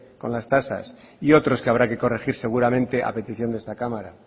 con las tasas y otros que habrá que corregir seguramente a petición de esta cámara